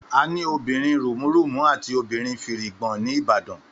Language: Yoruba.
Àní obìrin rùmúrùmú àti obìrin fìrìgbòn ni ìbàdàn